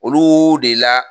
Oluuu de la.